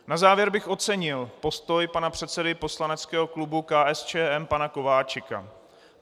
Na závěr bych ocenil postoj pana předsedy poslaneckého klubu KSČM pana Kováčika.